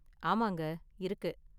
ஆமாங்க, இருக்கு.